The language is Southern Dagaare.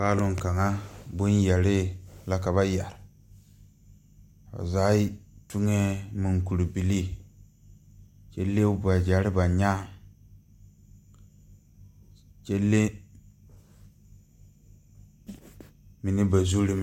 Paalong kaŋa kaŋa bonyɛrre la ka ba yɛre ba zaa tuŋee munkurebilii kyɛ le wagyɛrre ba nyaaŋ kyɛ le mine ba zurreŋ.